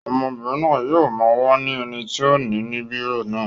Ọmọbìnrin náà yóò máa wá ẹni tí ó ni bírò náà.